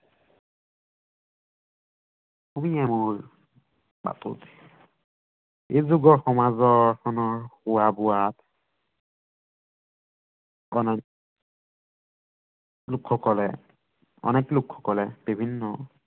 এই যুগৰ সমাজখনৰ খোৱা বোৱাত লোকসকলে অনেক লোকসকলে বিভিন্ন